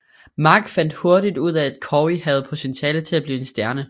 Mark fandt hurtigt ud af at Cory havde potentialet til at blive en stjerne